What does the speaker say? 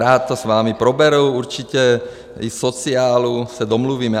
Rád to s vámi proberu, určitě i v sociálu, se domluvíme.